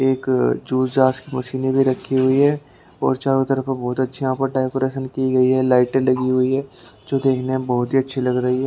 एक जूस जास की मशीने भी रखी हुई है और चारों तरफ बहोत अच्छी यहाँ पर डेकोरेशन की गई है लाइट लगी हुई है जो देखने में बहोत ही अच्छी लग रही है।